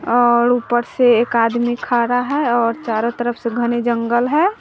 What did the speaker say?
और ऊपर से एक आदमी खा रहा है और चारों तरफ से घने जंगल है।